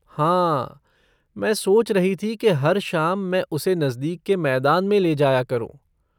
हाँ, मैं सोच रही थी कि हर शाम मैं उसे नजदीक के मैदान में ले जाया करूँ।